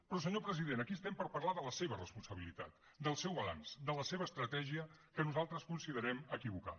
però senyor president aquí estem per parlar de la seva responsabilitat del seu balanç de la seva estratègia que nosaltres considerem equivocada